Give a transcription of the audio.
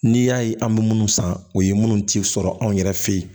N'i y'a ye an bɛ minnu san o ye minnu tɛ sɔrɔ anw yɛrɛ fɛ yen